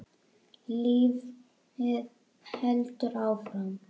Lífið heldur áfram.